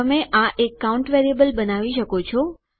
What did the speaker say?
તમે આ એક કાઉન્ટ વેરીએબલ બનાવી કરી શકો છો